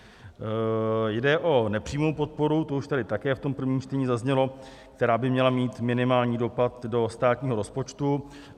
Jde o nepřímou podporu, to už tady také v tom prvním čtení zaznělo, která by měla mít minimální dopad do státního rozpočtu.